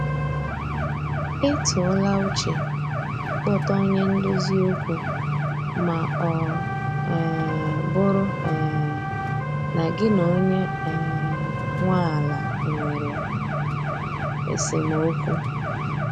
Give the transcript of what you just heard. Ị tụọ la uche ị kpọta onye ndozi okwu ma ọ um bụrụ um na gị na onye um nwe ala nwere esemokwu